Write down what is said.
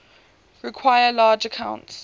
require large amounts